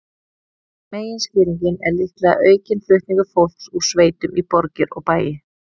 Meginskýringin er líklega aukinn flutningur fólks úr sveitum í borgir og bæi.